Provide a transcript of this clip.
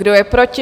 Kdo je proti?